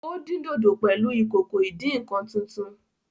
Ó dín dòdò pẹ̀lú ìkòkò ìdí -nǹkan tuntun